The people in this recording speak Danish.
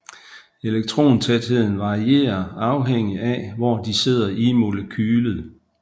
Elektrontætheden varierer afhængig af hvor de sidder i molekylet